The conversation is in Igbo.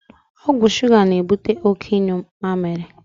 Ọgwụ shuga na ebute oké ịnyu mamịrị